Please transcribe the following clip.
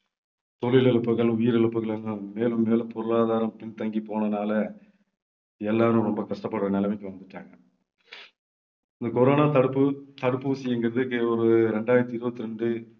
தொழில் இழப்புகள் உயிரிழப்புகள் எல்லாம் மேலும் மேலும் பொருளாதாரம் பின்தங்கி போனதுனால எல்லாரும் ரொம்ப கஷ்டப்படுற நிலைமைக்கு வந்துட்டாங்க. இந்த corona தடுப்பு தடுப்பூசிங்கிறது இங்க ஒரு இரண்டாயிரத்து இருபத்து இரண்டு